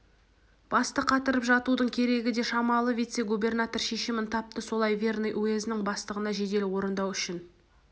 басты қатырып жатудың керегі де шамалы вице-губернатор шешімін тапты солай верный уезінің бастығына жедел орындау үшін